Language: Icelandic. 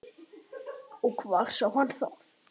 Hvar sá hann það?